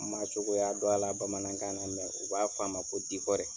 N man cogoya dɔn a la bamanankan na u b'a f'a ma ko